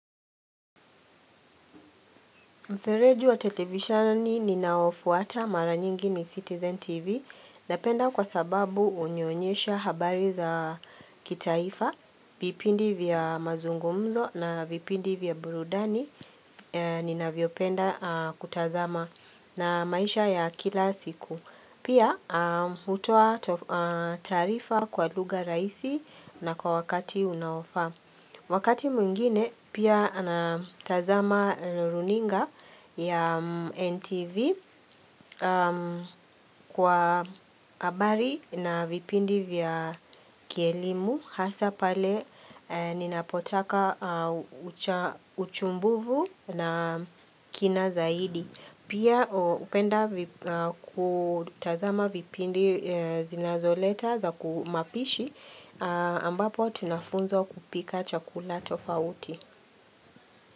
Mfereju wa television ni ninaofuata mara nyingi ni Citizen TV Napenda kwa sababu unionyesha habari za kitaifa vipindi vya mazungumzo na vipindi vya burudani ninavyopenda kutazama na maisha ya kila siku Pia hutoa taarifa kwa lugha raisi na kwa wakati unaofaa Wakati mwingine pia anatazama runinga ya NTV kwa abari na vipindi vya kielimu hasa pale ninapotaka uchumbuvu na kina zaidi. Pia upenda kutazama vipindi zinazoleta za kumapishi ambapo tunafunzwo kupika chakula tofauti.